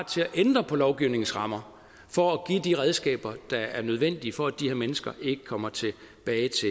til at ændre på lovgivningens rammer for at give de redskaber der er nødvendige for at de her mennesker ikke kommer til